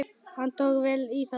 Hann tók vel í það.